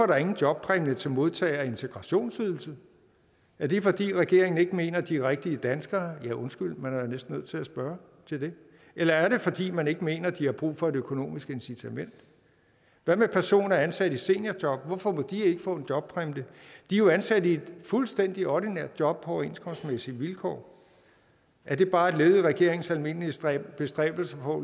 der ingen jobpræmie til modtagere af integrationsydelse er det fordi regeringen ikke mener at de er rigtige danskere undskyld man er jo næsten nødt til at spørge til det eller er det fordi man ikke mener de har brug for et økonomisk incitament hvad med personer ansat i seniorjob hvorfor må de ikke få en jobpræmie de er jo ansat i et fuldstændig ordinært job på overenskomstmæssige vilkår er det bare et led i regeringens almindelige bestræbelser på